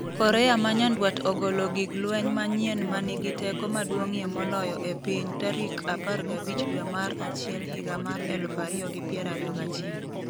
Korea ma Nyanduat ogolo gig lweny manyien 'ma nigi teko maduong'ie moloyo e piny' tarik 15 dwe mar achiel higa mar 2021